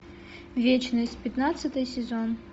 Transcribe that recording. вечность пятнадцатый сезон